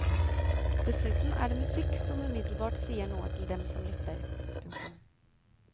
Dessuten er det musikk som umiddelbart sier noe til dem som lytter. punktum